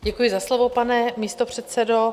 Děkuji za slovo, pane místopředsedo.